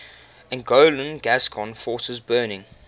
anglo gascon forces burning